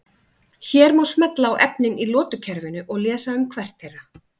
Hér má smella á efnin í lotukerfinu og lesa um hvert þeirra.